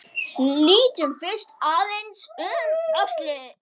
Lítum fyrst aðeins um öxl.